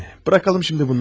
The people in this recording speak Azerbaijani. Anne, buraxaq indi bunları.